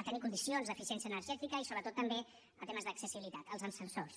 a tenir condicions d’eficiència energètica i sobretot també temes d’accessibilitat els ascensors